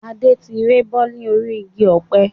Adé tí rébọ́ ni orí igi ọ̀pẹ